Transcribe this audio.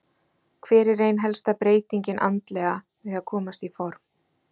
Hver er ein helsta breytingin andlega við að komast í form?